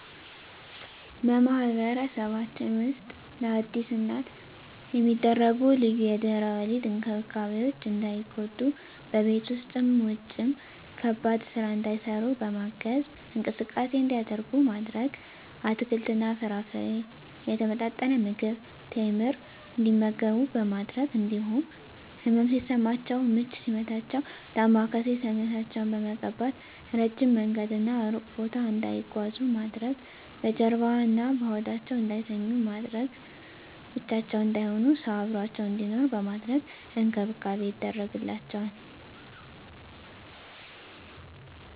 በማህበረሰባችን ውስጥ ለአዲስ እናት የሚደረጉ ልዩ የድህረ ወሊድ እንክብካቤዎች እንዳይጎዱ በቤት ውስጥም ውጭም ከባድ ስራ እንዳይሰሩ በማገዝ፣ እንቅስቃሴ እንዲያደርጉ ማድረግ፣ አትክልትና ፍራፍሬ፣ የተመጣጠነ ምግብ፣ ቴምር እንዲመገቡ በማድረግ እንዲሁም ህመም ሲሰማቸው ምች ሲመታቸው ዳማከሴ ሰውነታቸውን በመቀባት፣ እረጅም መንገድና እሩቅ ቦታ እንዳይጓዙ ማድረግ፣ በጀርባዋ እና በሆዳቸው እንዳይተኙ በማድረግ፣ ብቻቸውን እንዳይሆኑ ሰው አብሮአቸው እንዲኖር በማድረግ እንክብካቤ ይደረግላቸዋል።